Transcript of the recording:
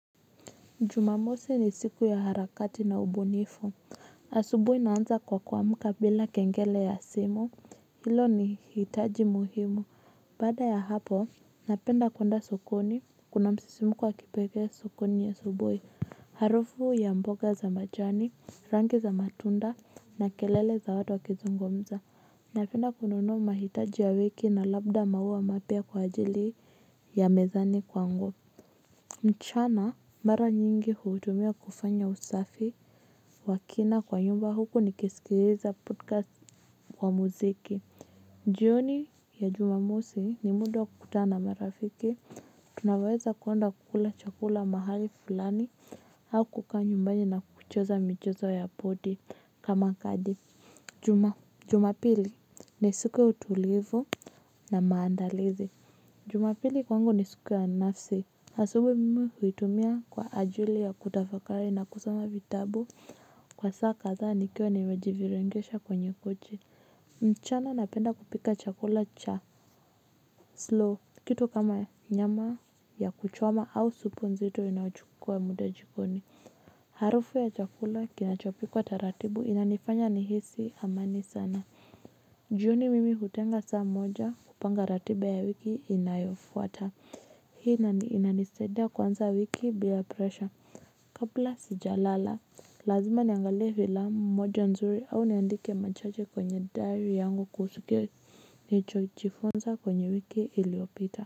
Jumamosi ni siku ya harakati na ubunifu, asubuhi naanza kwa kuamuka bila kengele ya simu, hilo ni hitaji muhimu. Baada ya hapo, napenda kwenda sokoni, kuna msisimko kwa kipekee sokoni ya asubuhi. Harufu ya mboga za majani, rangi za matunda, na kelele za watu wakizungumza, napenda kununua mahitaji ya wiki na labda maua mapya kwa ajili, ya mezani kwangu. Mchana, mara nyingi huutumia kufanya usafi wa kina kwa nyumba huku nikisikiliza podcast kwa muziki. Jioni, ya Jumamosi, ni muda wa kutana marafiki. Tunaweza kwenda kula chakula mahali fulani au kukaa nyumbani na kucheza michezo ya podi. Kama kadi. Jumapili, ni siku tulivu na maandalizi. Jumapili kwangu ni siku ya nafsi. Asubuhi mimi huitumia kwa ajili ya kutafakari na kusoma vitabu, kwa saa kadhaa nikiwa niwejivirengesha kwenye kochi. Mchana napenda kupika chakula cha slow. Kitu kama, nyama ya kuchoma au supu nzito inayochukua muda jikoni. Harufu ya chakula kinachopikwa taratibu inanifanya nihisi amani sana. Jioni mimi hutenga saa moja kupanga ratiba ya wiki inayofuata. Hii inanisaidia kuanza wiki bila presha. Kabla sijalala, lazima niangalie vilamu moja nzuri au niandike machache kwenye diary yangu kuhusu ke. Nichoijifunsa kwenye wiki iliopita.